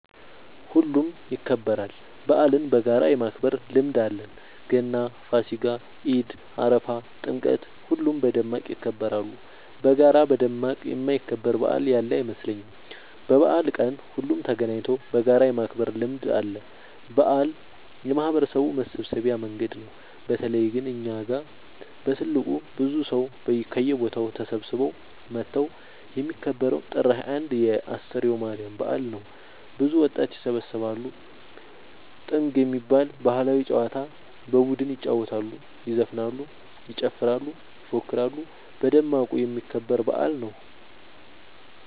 ሁሉም ይከበራል። በአልን በጋራ የማክበር ልምድ አለን ገና ፋሲካ ኢድ አረፋ ጥምቀት ሁሉም በደማቅ ይከበራሉ። በጋራ በደማቅ የማይከበር በአል ያለ አይመስለኝም። በበአል ቀን ሁሉም ተገናኘተው በጋራ የማክበር ልምድ አለ። በአል የማህበረሰቡ መሰብሰቢያ መንገድ ነው። በተለይ ግን እኛ ጋ በትልቁ ብዙ ሰው ከየቦታው ተሰብስበው መተው የሚከበረው ጥር 21 የ አስተርዮ ማርያም በአል ነው። ብዙ ወጣት ይሰባሰባሉ። ጥንግ የሚባል ባህላዊ ጨዋታ በቡድን ይጫወታሉ ይዘፍናሉ ይጨፍራሉ ይፎክራሉ በደማቁ የሚከበር በአል ነው።